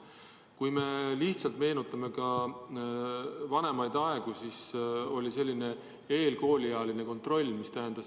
Kui me meenutame vanemaid aegu, siis kunagi oli selline koolieelne kontroll.